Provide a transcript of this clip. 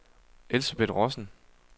Elsebeth Rossen